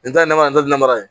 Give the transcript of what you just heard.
N ta ye namara n terilamara ye